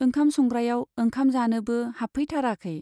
ओंखाम संग्रायाव ओंखाम जानोबो हाबफैथाराखै।